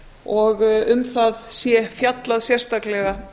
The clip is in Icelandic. og um það sé fjallað sérstaklega